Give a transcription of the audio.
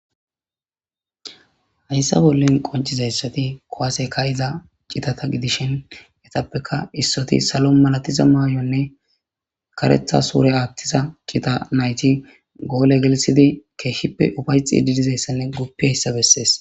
hayssa bollen qoncizayssati kowaaseka iza citata gidishin etappeka issoti salo malatiza maayonne karetha suure aattiza kita nayti goole gelisidi keeshshippe ufayxi di dizayssanne guppi hayssa bessees